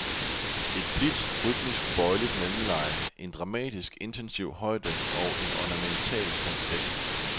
Et blidt, rytmisk bøjeligt mellemleje, en dramatisk intensiv højde og en ornamental falset.